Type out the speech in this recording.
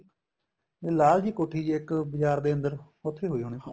ਲਾਲ ਜੀ ਕੋਠੀ ਜੀ ਇੱਕ ਬਜਾਰ ਦੇ ਅੰਦਰ ਉੱਥੇ ਹੋਈ ਹੋਣੀ